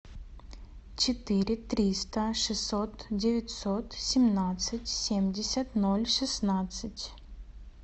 четыре триста шестьсот девятьсот семнадцать семьдесят ноль шестнадцать